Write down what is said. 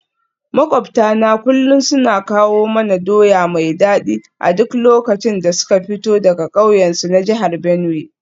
Makwabtana kullum suna kawo mana doya mai dadi a duk lokacin da suka fito daga kauyensu na jihar Benue.